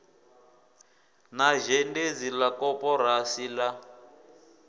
na zhendedzi la koporasi la